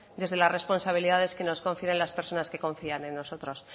desde las responsabilidades que nos confieren las personas que confían en nosotros